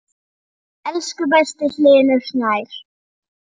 Elsku besti Hlynur Snær.